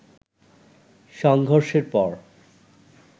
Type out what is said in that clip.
সংঘর্ষের পর